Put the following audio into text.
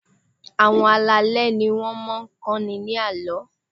Àwọn alálẹ̀ ni wọ́n máa ń kọ́ni ní àlọ́.